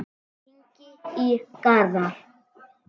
Hringi í Garðar.